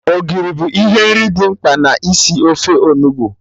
Ogiri bụ ihe nri dị mkpa n'isi ofe Onugbu